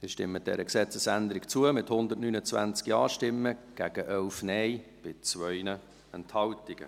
Sie stimmen dieser Gesetzesänderung zu, mit 129 Ja- gegen 11 Nein-Stimmen bei 2 Enthaltungen.